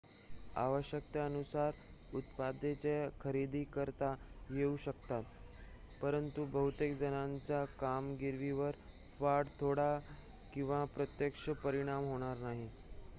आवश्यकतेनुसार उत्पादने खरेदी करता येऊ शकतात परंतु बहुतेक जणांच्या कामगिरीवर फार थोडा किंवा प्रत्यक्ष परिणाम होणार नाही